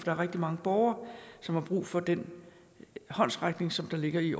er rigtig mange borgere som har brug for den håndsrækning som ligger i